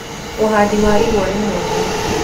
Ũhandi wa igwa ni mwega